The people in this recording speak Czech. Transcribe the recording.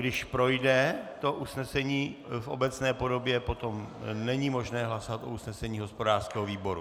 Když projde to usnesení v obecné podobě, potom není možné hlasovat o usnesení hospodářského výboru.